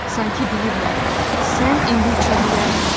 Sanki deyiblər, sən indi uça bilərsən.